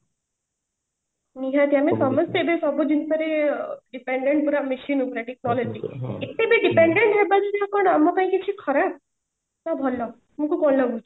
ନିହାତି ଆମେ ସମସ୍ତେ ଏବେ ସବୁ ଜିନିଷ ରେ dependent ପୁରା machine ଉପରେ ଏତେ ବି dependent ହେବ ଯଦି କଣ ଆମ ପାଇଁ କିଛି ଖରାପ ନା ଭଲ ତମକୁ କଣ ଲାଗୁଛି